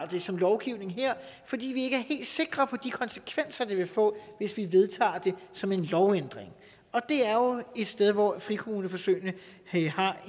det som lovgivning her fordi vi ikke sikre på de konsekvenser det vil få hvis vi vedtager det som en lovændring det er jo et sted hvor frikommuneforsøgene har